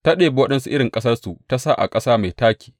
Ta ɗebi waɗansu irin ƙasarku ta sa a ƙasa mai taƙi.